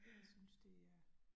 Jeg synes det er